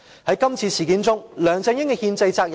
在今次事件中，梁振英有何憲制責任？